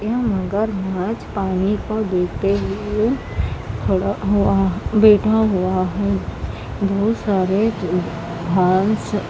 ये मगरमच्छ पानी को देखते हुए बैठा हुआ है बहुत सारे घाँस--